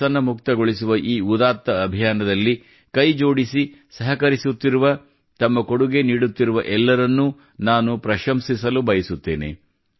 ವ್ಯಸನಮುಕ್ತಗೊಳಿಸುವ ಈ ಉದಾತ್ತ ಅಭಿಯಾನದಲ್ಲಿ ಕೈಜೋಡಿಸಿ ಸಹಕರಿಸುತ್ತಿರುವ ತಮ್ಮ ಕೊಡುಗೆ ನೀಡುತ್ತಿರುವ ಎಲ್ಲರನ್ನೂ ನಾನು ಪ್ರಶಂಸಿಸಲು ಬಯಸುತ್ತೇನೆ